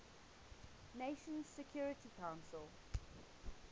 nations security council